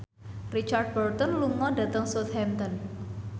Richard Burton lunga dhateng Southampton